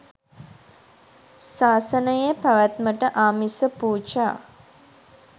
සාසනයේ පැවැත්මට ආමිස පූජා